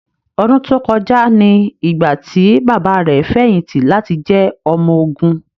Ọdún tó kọjá ni ìgbà tí bàbá rẹ̀ fẹ̀yìntì láti jẹ́ ọmọ ogun.